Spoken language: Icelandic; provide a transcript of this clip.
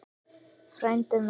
Frændi minn